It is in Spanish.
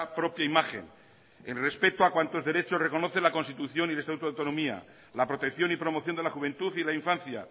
propia imagen el respeto a cuantos derechos reconoce la constitución y el estatuto de autonomía la protección y promoción de la juventud y la infancia